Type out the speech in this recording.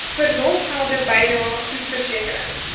verlofgelde bydrae groepversekering